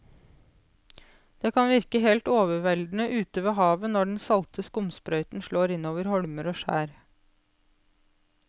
Det kan virke helt overveldende ute ved havet når den salte skumsprøyten slår innover holmer og skjær.